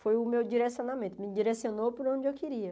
Foi o meu direcionamento, me direcionou por onde eu queria.